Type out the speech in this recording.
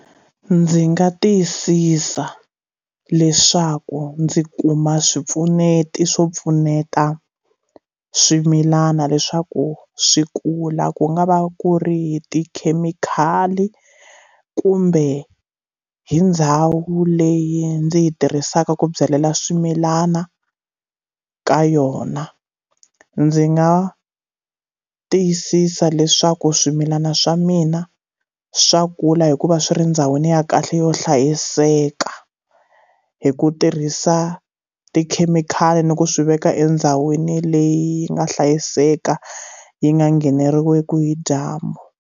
Ndzi nga tiyisisa leswaku ndzi kuma swipfuneti swo pfuneta swimilana leswaku swi kula ku nga va ku ri tikhemikhali kumbe hi ndhawu leyi ndzi yi tirhisaka ku byalela swimilana ka yona ndzi nga tiyisisa leswaku swimilana swa mina swa kula hikuva swi ri ndhawini ya kahle yo hlayiseka hi ku tirhisa tikhemikhali ni ku swi veka endhawini leyi nga hlayiseka yi nga ngheneriwiki hi dyambu.